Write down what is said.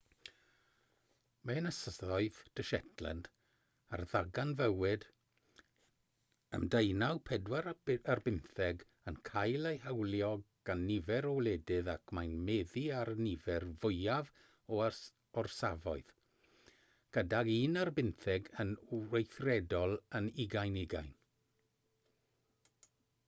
mae ynysoedd de shetland a ddarganfuwyd ym 1819 yn cael eu hawlio gan nifer o wledydd ac mae'n meddu ar y nifer fwyaf o orsafoedd gydag un ar bymtheg yn weithredol yn 2020